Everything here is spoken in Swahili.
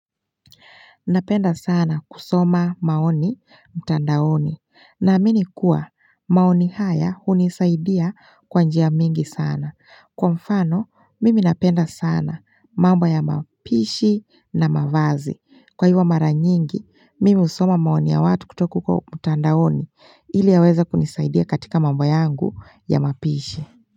Napenda sana kusoma maoni mtandaoni namini kuwa maoni haya unisaidia kwa njia mingi sana. Kwa mfano, mimi napenda sana mambo ya mapishi na mavazi. Kwa ivo maranyingi, mimi usoma maoni ya watu kutoka kwa mtandaoni ili yaweza kunisaidia katika mambo yangu ya mapishi.